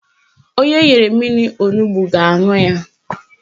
Onye enyere mmiri onugbo ga-aṅụ ya